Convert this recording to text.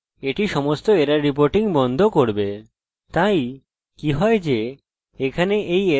তাই কি হয় যে এখানে এই এরর উপেক্ষিত হবে কিন্তু বিশিষ্ট এরর ব্যবহারকারী পাবে